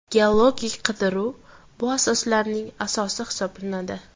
Geologik qidiruv bu asoslarning asosi hisoblanadi.